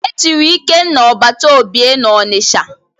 E chiri Ikenna Ọbataobie n'Ọnịcha.